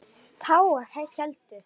Tágar héldu.